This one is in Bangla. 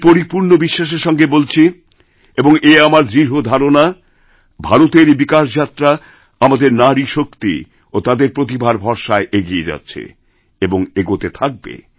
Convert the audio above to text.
আমি পরিপূর্ণ বিশ্বাসের সঙ্গে বলছিএবং এ আমার দৃঢ় ধারণা ভারতের বিকাশযাত্রা আমাদের নারীশক্তি ও তাদের প্রতিভারভরসায় এগিয়ে যাচ্ছে এবং এগোতে থাকবে